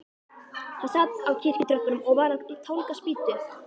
Hann sat á kirkjutröppunum og var að tálga spýtu.